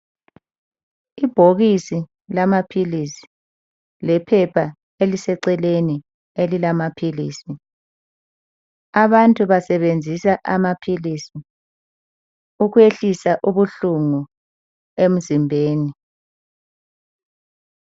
Ibhokisi lamaphilisi lephepha eliseceleni elilamaphilisi. Abantu basebenzisa amaphilisi ukwehlisa ubuhlungu emzimbeni.